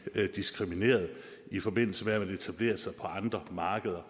diskrimineret i forbindelse med at man etablerer sig på andre markeder